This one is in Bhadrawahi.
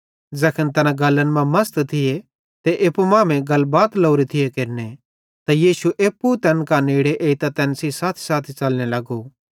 ज़ैखन तैना गल्लन मां मसत थिये ते एप्पू मांमेइं गलबात लोरे थिये केरने त यीशु एप्पू तैन कां नेड़े एइतां तैन सेइं साथीसाथी च़लने लगो